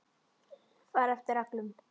Fara eftir reglum.